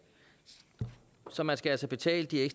så man skal altså betale de